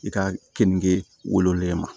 I ka keninge wololen ma